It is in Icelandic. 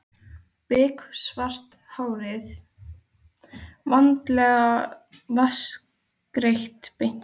Biksvart hárið vandlega vatnsgreitt beint aftur.